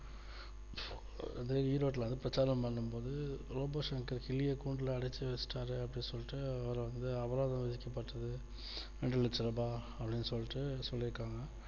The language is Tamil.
அதே ஈரோட்டில் வந்து பிரச்சாரம் பண்ணும்போது robo சங்கர் கிளிய கூண்டுல அடக்கி வச்சிட்டாரு அப்படின்னு சொல்ட்டு அவர் வந்து அபராதம் விதிக்கப்பட்டது ரெண்டு லட்ச ரூபா அப்படின்னு சொல்லிட்டு சொல்லி இருக்காங்க